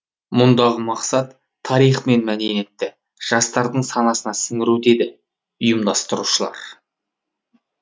мұндағы мақсат тарих пен мәдениетті жастардың санасына сіңіру дейді ұйымдастырушылар